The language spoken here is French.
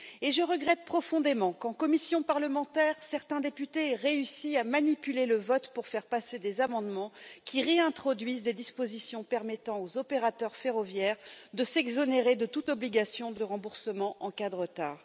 Je regrette profondément qu'en commission parlementaire certains députés aient réussi à manipuler le vote pour faire passer des amendements qui réintroduisent des dispositions permettant aux opérateurs ferroviaires de s'exonérer de toute obligation de remboursement en cas de retard.